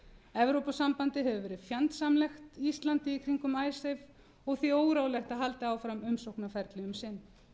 evrópusambandið hefur verið fjandsamlegt íslandi í kringum icesave og því óráðlegt að halda áfram umsóknarferli um sinn